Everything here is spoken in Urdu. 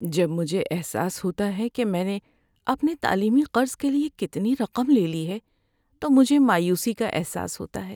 جب مجھے احساس ہوتا ہے کہ میں نے اپنے تعلیمی قرض کے لیے کتنی رقم لے لی ہے تو مجھے مایوسی کا احساس ہوتا ہے۔